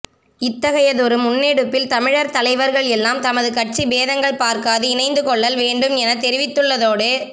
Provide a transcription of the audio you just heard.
இத்தகையதொரு முன்னெடுப்பில் தமிழர் தலைவர்கள் எல்லாம் தமது கட்சி பேதங்கள் பார்காது இணைந்து கொள்ளல் வேண்டும் எனத் தெரிவித்துள்ளதோடு